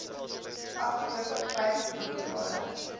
afgelope vyf boekjare